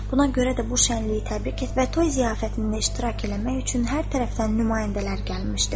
Buna görə də bu şənliyi təbrik etmək və toy ziyafətində iştirak eləmək üçün hər tərəfdən nümayəndələr gəlmişdi.